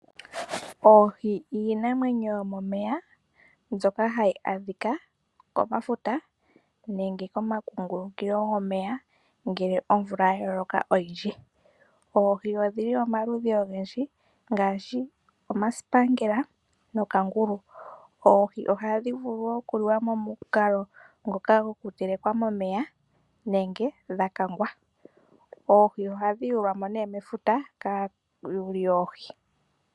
Oohi odho iinamwenyo yomomeya mbyoka hayi adhika mefuta nenge momakungulukilo gomeya ngele omvula ya loka oyindji. Oohi odhi li pamaludhi ogendji ngaashi omasipaangela nookangulu. Dho ohadhi vulu okuliwa pamukalo gwoku dhi teleka momeya, nenge dha kangwa. Oohi ohadhi yulwa mo nee mefuta kaayuli yoohi.